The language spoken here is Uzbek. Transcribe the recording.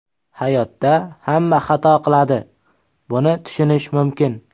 Hayotda hamma xato qiladi, buni tushunish mumkin.